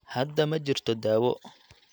Hadda ma jirto daawo